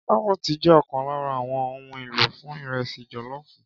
Kárọ́ọ̀tì jẹ́ ọ̀kan lára àwọn ohun èlò fún ìrẹsì jọ̀lọ́ọ̀fù.